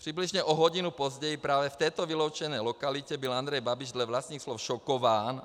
Přibližně o hodinu později právě v této vyloučené lokalitě byl Andrej Babiš dle vlastních slov šokován.